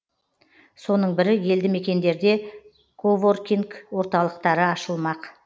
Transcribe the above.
соның бірі елді мекендерде коворкинг орталықтары ашылмақ